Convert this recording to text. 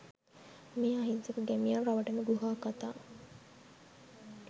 මේ අහිංසක ගෑමියන් රවටන ගුහා කතා